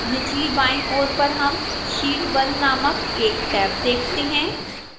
निचली बाईं ओर पर हम sheet 1 named एक टैब देखते हैं